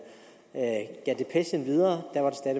gav depechen videre